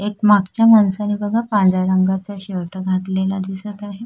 मागच्या माणसाने बघा पांढऱ्या रंगाचा शर्ट घातलेला दिसत आहे.